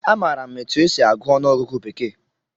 Amaara m etu e si agụ ọnụọgụgụ bekee